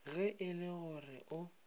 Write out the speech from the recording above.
ge e le gore o